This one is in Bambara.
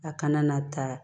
A kana na taa